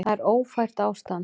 Það er ófært ástand.